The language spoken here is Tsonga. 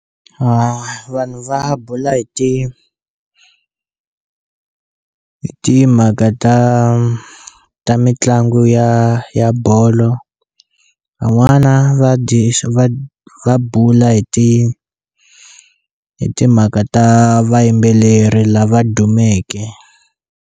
Vanhu va bula hi ti hi timhaka ta ta mitlangu ya ya bolo van'wana va dyi va bula hi ti hi timhaka ta vayimbeleri lava dumeke.